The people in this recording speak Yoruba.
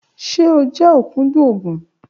Ṣe o jẹ okudun oogun?